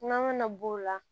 Nɔnɔ ŋana b'o la